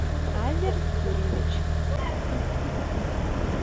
азер юрьевич